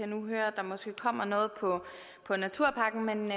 nu høre at der måske kommer noget med naturpakken men